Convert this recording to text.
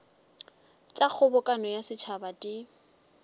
tša kgobokano ya setšhaba di